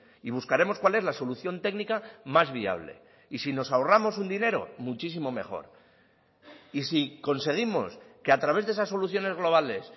y buscaremos cuál es la solución técnica más viable y si nos ahorramos un dinero muchísimo mejor y si conseguimos que a través de esas soluciones globales